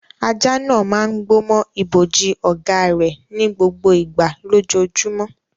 Ajá náà máa ń gbó mọ́ ibojì ọ̀gá rẹ̀ ní gbogbo ìgbà lójoojúmọ́.